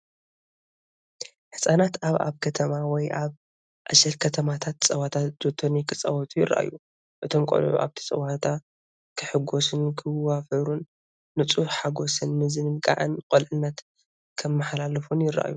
ህጻናት ኣብ ኣብ ከተማ ወይ ኣብ ዕሸል ከተማታት ጸወታ ጆቶኒ ክጻወቱ ይረኣዩ። እቶም ቆልዑ ኣብቲ ጸወታ ክሕጎሱን ክዋፈሩን፡ ንጹህ ሓጎስን ምዝንጋዕን ቁልዕነት ከመሓላልፉ ይረኣዩ።